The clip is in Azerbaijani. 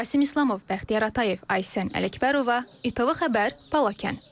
Rasim İslamov, Bəxtiyar Atayev, Aysən Ələkbərova, İTV xəbər, Balakən.